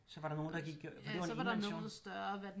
Så var der nogle der gik fordi det var en enmands jo